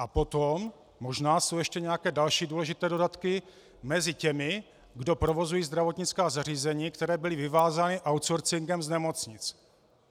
A potom možná jsou ještě nějaké další důležité dodatky mezi těmi, kdo provozují zdravotnická zařízení, která byla vyvázána outsourcingem z nemocnic.